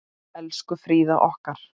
Elsku Fríða okkar.